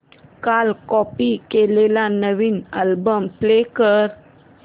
काल कॉपी केलेला नवीन अल्बम प्ले कर